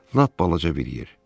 Lap balaca bir yer.